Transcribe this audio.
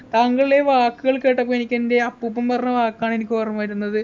താങ്കളെ വാക്കുകൾ കേട്ടപ്പോ എനിക്ക് എൻ്റെ അപ്പൂപ്പൻ പറഞ്ഞ വാക്കാണ് എനിക്കോർമ്മവരുന്നത്